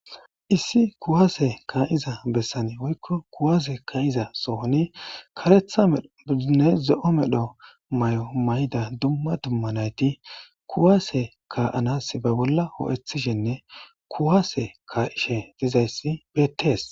Issi kuwaase ka7iza bessane woykko kuwaase ka7iza sohoni karetha ddinne ze7o medho may7o may7da dumma dumma nayti kuwaase ka7anas ba bolla hoo7ethishenne kuwaase ka7ishe dizayssi beettees.